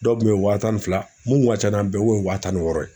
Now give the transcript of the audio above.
Dɔw kun ye wa tan fila mun tun ka ca n'a bɛɛ ye kun ye wa tan ni wɔɔrɔ ye